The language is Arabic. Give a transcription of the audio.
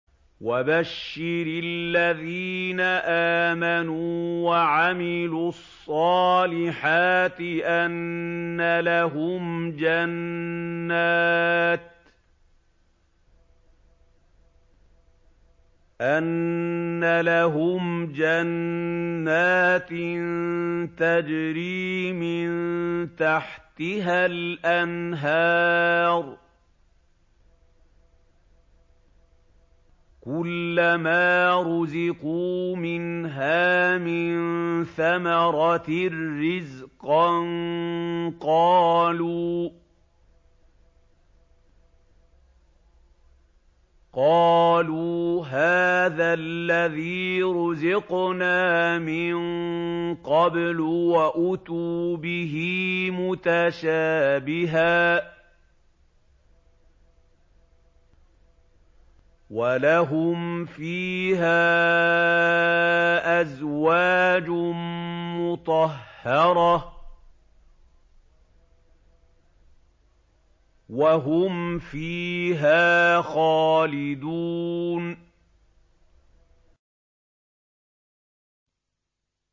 وَبَشِّرِ الَّذِينَ آمَنُوا وَعَمِلُوا الصَّالِحَاتِ أَنَّ لَهُمْ جَنَّاتٍ تَجْرِي مِن تَحْتِهَا الْأَنْهَارُ ۖ كُلَّمَا رُزِقُوا مِنْهَا مِن ثَمَرَةٍ رِّزْقًا ۙ قَالُوا هَٰذَا الَّذِي رُزِقْنَا مِن قَبْلُ ۖ وَأُتُوا بِهِ مُتَشَابِهًا ۖ وَلَهُمْ فِيهَا أَزْوَاجٌ مُّطَهَّرَةٌ ۖ وَهُمْ فِيهَا خَالِدُونَ